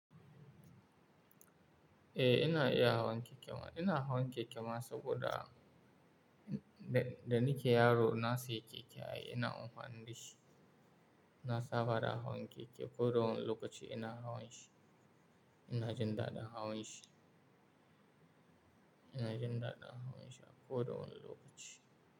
Eh, ina iya hawan keke ma. Ina hawan keke ma saboda da, da nike yaro na sayi keke ai ina amfani dashi na saba da hawan keke. Ko da wane lokaci ina hawan shi. Ina jin daɗin hawan shi. Ina jin daɗin hawan shi a ko da wane lokaci.